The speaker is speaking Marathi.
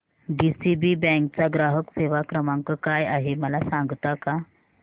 डीसीबी बँक चा ग्राहक सेवा क्रमांक काय आहे मला सांगता का